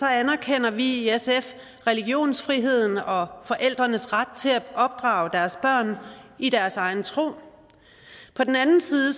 anerkender vi i sf religionsfriheden og forældrenes ret til at opdrage deres børn i deres egen tro på den anden side